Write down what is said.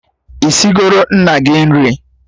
Isigoro nna gị nri?